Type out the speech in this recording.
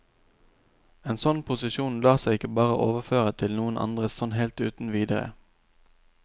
En sånn posisjon lar seg ikke bare overføre til noen andre sånn helt uten videre.